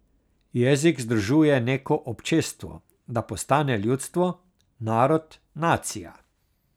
Jezik združuje neko občestvo, da postane ljudstvo, narod, nacija.